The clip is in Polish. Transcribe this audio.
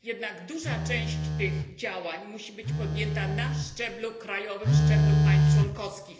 Jednak duża część tych działań powinna zostać podjęta na szczeblu krajowym, szczeblu państw członkowskich.